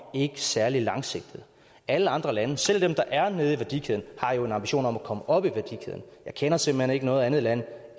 ikke er særlig langsigtet alle andre lande selv dem der er nede i værdikæden har jo en ambition om at komme op i værdikæden jeg kender simpelt hen ikke noget andet land